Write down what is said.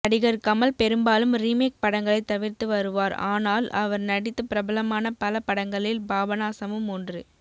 நடிகர் கமல் பெரும்பாலும் ரீமேக் படங்களை தவிர்த்து வருவார் ஆனால் அவர் நடித்து பிரபலமான பல படங்களில் பாபனாசமும் ஓன்று